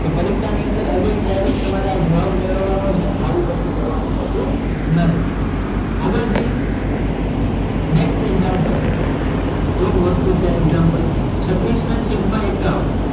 તો પરીક્ષા ની અંદર again direct તમ્રે આ જવાબ મેળવવા નો છે આવું કશું કરવા નું હોતું નથી આગળ જઈએ next example જુઓ મસ્ત છે આ example છત્રીસ નાં છેદ માં એક્કાવ્ન